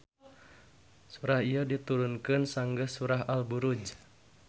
Surah ieu diturunkeun sanggeus surah Al Buruj.